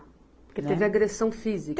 Porque teve agressão física?